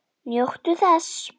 Njóttu þess.